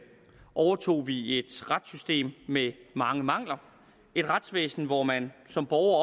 overtog vi et retssystem med mange mangler et retsvæsen hvor man som borger